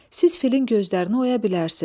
Siz filin gözlərini oya bilərsiz.